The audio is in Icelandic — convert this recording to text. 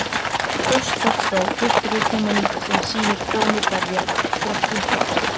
Póstkort frá Viktoríutímanum sem sýnir konu berja storkinn frá sér.